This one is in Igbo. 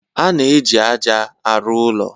A na-eji ájá arụ ụlọ.